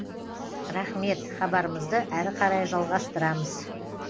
рахмет хабарымызды әрі қарай жалғастырамыз